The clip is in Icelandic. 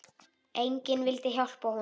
Enginn vildi hjálpa honum.